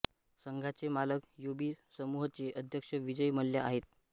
संघाचे मालक युबी समूहचे अध्यक्ष विजय मल्ल्या आहेत